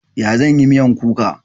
Ya zan yi miyan kuka?